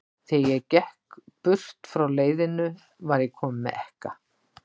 Þegar ég gekk burt frá leiðinu, var ég kominn með ekka.